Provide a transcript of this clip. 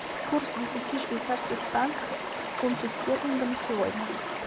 курс десяти швейцарских франков к фунту стерлинга на сегодня